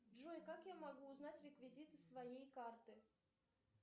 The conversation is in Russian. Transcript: джой как я могу узнать реквизиты своей карты